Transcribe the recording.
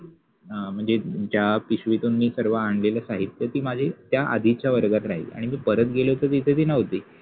अ मनजे ज्या पिशवितुन मि सर्व आणलेल साहित्य ति माझि त्या आधिच्या वर्गात राहिलि आणि मि परत गेलो तर ति तिथे नवति.